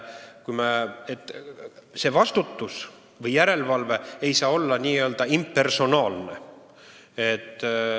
See vastutus või järelevalve ei saa olla impersonaalne.